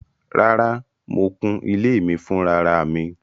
Rárá, mo kụ́n ilẹ̀ mi fúnráràmì